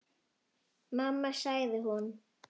Mamma sagði hún.